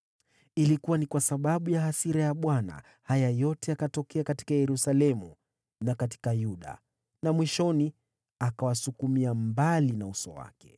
Ilikuwa ni kwa sababu ya hasira ya Bwana haya yote yalitokea Yerusalemu na Yuda, naye mwishoni akawaondoa mbele zake. Basi, Sedekia akaasi dhidi ya mfalme wa Babeli.